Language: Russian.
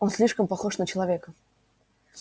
он слишком похож на человека